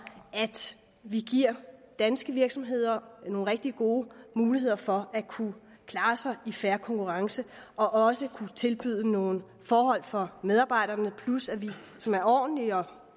at vi giver danske virksomheder nogle rigtig gode muligheder for at kunne klare sig i fair konkurrence og også kunne tilbyde nogle forhold for medarbejderne som er ordentlige og